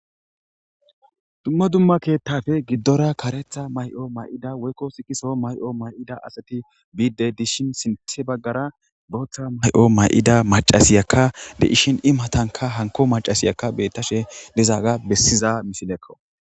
dumma dumma keettafe giddora karetha may7o may7ida woykko sikiso may7o may7ida asati biide dishin sinth baggara booththa may7o may7ida macasiyakka de ishin i matanka hanko macasiyakka beettashe dizaaga bessiza misilekko